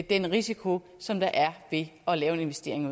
den risiko som der er ved at lave en investering